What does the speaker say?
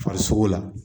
Farisogo la